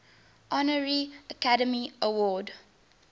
honorary academy award